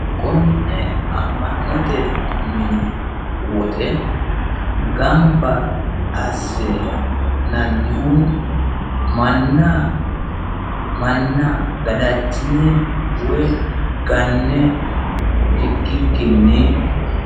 konne amma'note mini woxe gamba assinannihu manna gadachine woy ganne ikkikkinni.